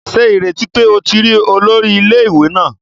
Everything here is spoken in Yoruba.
Ṣe ireti pe o ti ri olori ile-iwe naa